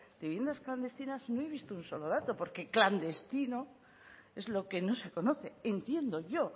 de viviendas clandestinas no he visto ni un solo dato porque clandestino es lo que no se conoce entiendo yo